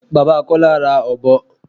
Bàbá Kọ́lá ra ọ̀bọ.